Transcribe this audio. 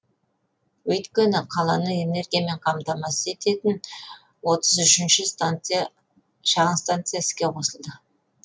өйткені қаланы энергиямен қамтамасыз ететін отыз үшінші шағын станция іске қосылды